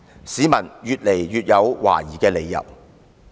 市民越來越有懷疑的理由。